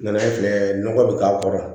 Nana filɛ nɔgɔ bɛ k'a kɔrɔ